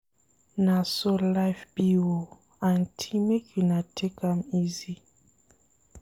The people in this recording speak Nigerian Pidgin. Na so life be o, aunty make una take am easy.